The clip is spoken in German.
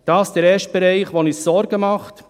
Dies ist der erste Bereich, der uns Sorgen bereitet.